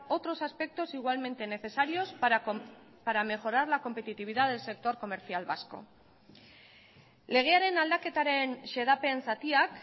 otros aspectos igualmente necesarios para mejorar la competitividad del sector comercial vasco legearen aldaketaren xedapen zatiak